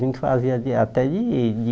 A gente fazia de até de de